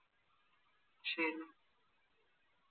ശരി